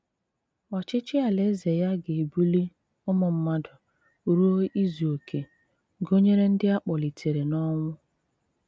Ọ̀chịchì Àlàézè ya gà-ebùlì ụmụ̀ mmádụ̀ rùo ìzù òké, gụ̀nyerè ndị̀ a kpọ̀lìtèrè̀ n’ọ̀nwú.